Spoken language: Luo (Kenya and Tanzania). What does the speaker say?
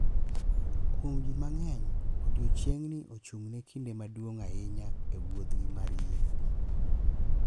Kuom ji mang’eny, Odiechiengni ochung’ ne kinde maduong’ ahinya e wuodhgi mar yie.